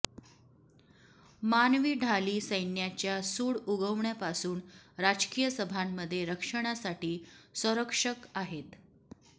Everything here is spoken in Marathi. मानवी ढाली सैन्याच्या सूड उगवण्यापासून राजकीय सभांमध्ये रक्षणासाठी संरक्षक आहेत